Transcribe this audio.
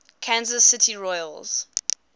kansas city royals